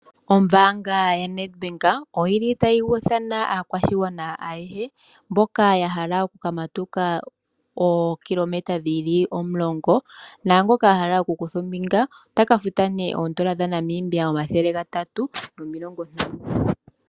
Ombaanga yaNedbank oyili tayi ithana aakwashigwana ayehe mboka yahala okukamatuka ookilometa dhili 10, naangoka ahala okukutha ombinga otafuta nee N$350.